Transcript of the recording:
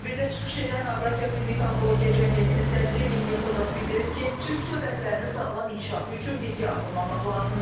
Tədbirdə çıxış edən Avrasiya Klinik Onkologiya Cəmiyyətinin sədri Hilmi Kodaz bildirib ki, Türk dövlətlərinin sağlam inkişafı üçün birgə addımlamaq lazımdır.